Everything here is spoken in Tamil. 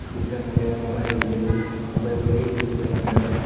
கிட்ட நெறைய மரம் இருக்குது அதுல ஒரு லேடீஸ் இருக்காங்க.